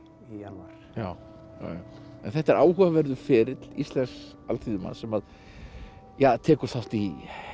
janúar en þetta er áhugaverður ferill íslensks alþýðumanns sem að tekur þátt í